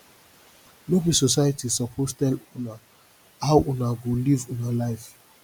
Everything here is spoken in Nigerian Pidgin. no be society suppose tell una how una go live una life